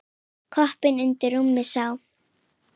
Koppinn undir rúmi sá.